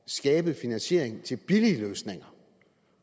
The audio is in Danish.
skabe finansiering til billige løsninger